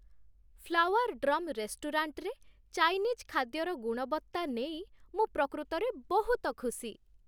Flower drum ରେଷ୍ଟୁରାଣ୍ଟ'ରେ Chinese ଖାଦ୍ୟର ଗୁଣବତ୍ତା ନେଇ ମୁଁ ପ୍ରକୃତରେ ବହୁତ ଖୁସି।